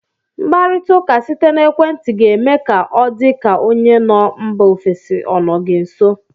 Mkparita ụka site n'ekwenti ga eme ka ọ dị ka onye nọ mba ofesi ọ nọ gị nso.